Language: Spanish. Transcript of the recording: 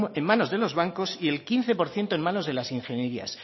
en manos de los bancos y el quince por ciento en manos de las ingenierías